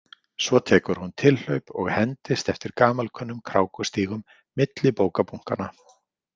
Svo tekur hún tilhlaup og hendist eftir gamalkunnum krákustígum milli bókabunkanna.